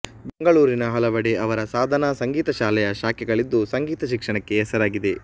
ಬೆಂಗಳೂರಿನ ಹಲವೆಡೆ ಅವರ ಸಾಧನಾ ಸಂಗೀತ ಶಾಲೆಯ ಶಾಖೆಗಳಿದ್ದು ಸಂಗೀತ ಶಿಕ್ಷಣಕ್ಕೆ ಹೆಸರಾಗಿದೆ